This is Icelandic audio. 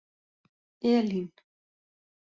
Elín